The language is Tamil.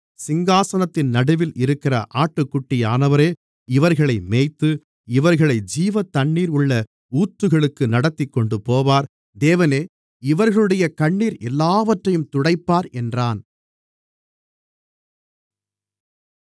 சிங்காசனத்தின் நடுவில் இருக்கிற ஆட்டுக்குட்டியானவரே இவர்களை மேய்த்து இவர்களை ஜீவத்தண்ணீர் உள்ள ஊற்றுகளுக்கு நடத்திக்கொண்டு போவார் தேவனே இவர்களுடைய கண்ணீர் எல்லாவற்றையும் துடைப்பார் என்றான்